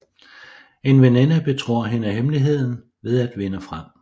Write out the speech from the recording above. En veninde betror hende hemmeligheden ved at vinde frem